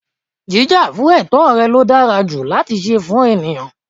Jíjà fún ètó rẹ̀ ló dára ju láti se fún ènìyãn